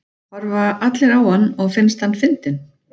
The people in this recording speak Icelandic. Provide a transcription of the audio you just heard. Horfa allir á hann og finnst hann fyndinn?